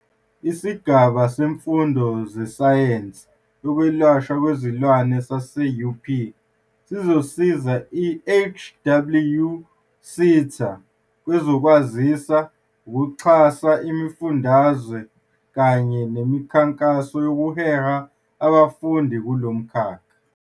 Isigaba Semfundo Sezesayensi Yokwelashwa Kwezilwane sase-UP sizosiza i-HWSETA kwezokwazisa, ukuxhasa imifundaze kanye nemikhankaso yokuhehela abafundi kulo mkhakha.